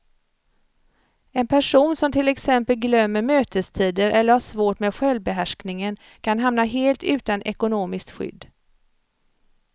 En person som till exempel glömmer mötestider eller har svårt med självbehärskningen kan hamna helt utan ekonomiskt skydd.